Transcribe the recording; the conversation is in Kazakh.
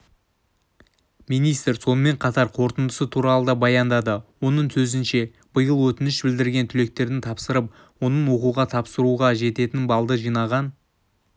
министр сонымен қатар қорытындысы туралы да баяндады оның сөзінше биыл өтініш білдірген түлектің тапсырып оның оқуға тапсыруға жететін балды жинаған